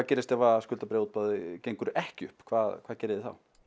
gerist ef skuldabréfaútboð gengur ekki upp hvað hvað gerið þið þá